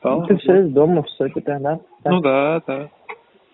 а автосервис дома всё теперь да ну да да